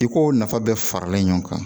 I ko nafa bɛɛ faralen ɲɔgɔn kan